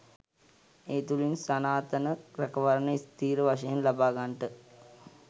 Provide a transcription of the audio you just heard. ඒ තුළින් සනාතන රැකවරණය ස්ථිර වශයෙන් ලබාගන්ට